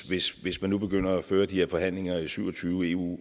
hvis hvis man nu begynder at føre de her forhandlinger i syv og tyve eu